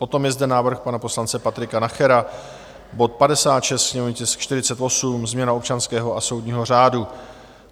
Potom je zde návrh pana poslance Patrika Nachera, bod 56, sněmovní tisk 48, změna občanského a soudního řádu.